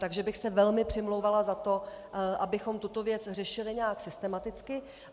Takže bych se velmi přimlouvala za to, abychom tuto věc řešili nějak systematicky.